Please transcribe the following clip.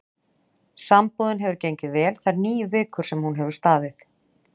Sambúðin hefur gengið vel þær níu vikur sem hún hefur staðið.